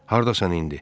Hardasan indi?